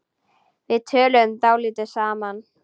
Við töluðum dálítið saman.